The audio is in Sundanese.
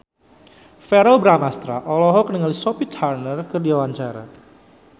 Verrell Bramastra olohok ningali Sophie Turner keur diwawancara